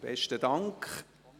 Besten Dank.